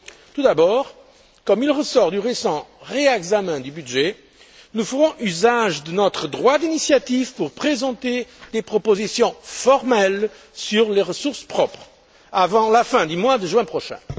Tout d'abord, comme il ressort du récent réexamen du budget, nous ferons usage de notre droit d'initiative pour présenter des propositions formelles sur les ressources propres avant la fin du mois de juin prochain.